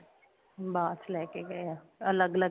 ਬਾਚ ਲੈਕੇ ਗਏ ਆ ਅੱਲਗ ਅੱਲਗ